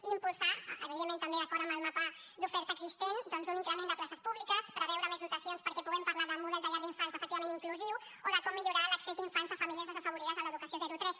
i impulsar evidentment també d’acord amb el mapa d’oferta existent doncs un increment de places públiques preveure més dotacions perquè puguem parlar de model de llar d’infants efectivament inclusiu o de com millorar l’accés d’infants de famílies desafavorides a l’educació zero tres